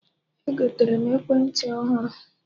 Egotere m ekwentị ọhụrụ